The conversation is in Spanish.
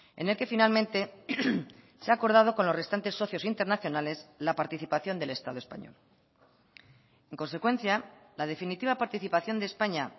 en el que finalmente se ha acordado con los restantes socios internacionales la participación del estado español en consecuencia la definitiva participación de españa